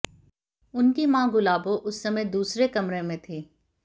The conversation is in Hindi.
उनकी मां गुलाबो उस समय दूसरे कमरे में थी